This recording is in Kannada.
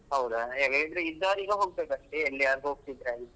ಹೌದಾ ಹೇಗೆ ಇದ್ದವರು ಈಗ ಹೋಗ್ಬೇಕಷ್ಟೆ ಎಲ್ಲಿಯಾದ್ರೂ ಹೊಗ್ತಿದ್ರೆ.